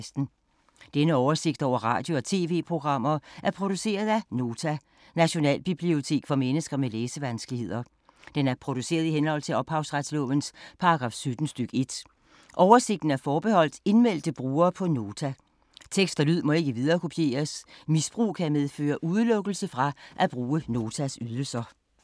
Denne oversigt over radio og TV-programmer er produceret af Nota, Nationalbibliotek for mennesker med læsevanskeligheder. Den er produceret i henhold til ophavsretslovens paragraf 17 stk. 1. Oversigten er forbeholdt indmeldte brugere på Nota. Tekst og lyd må ikke viderekopieres. Misbrug kan medføre udelukkelse fra at bruge Notas ydelser.